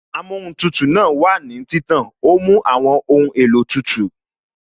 Amóhun tutù náà wà ní títàn, ó mú àwọn ohun èlò tútù